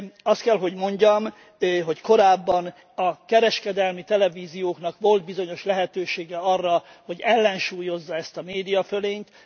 Azt kell, hogy mondjam, hogy korábban a kereskedelmi televízióknak volt bizonyos lehetőségük arra, hogy ellensúlyozzák ezt a médiafölényt.